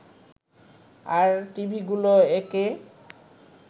আর টিভিগুলো একে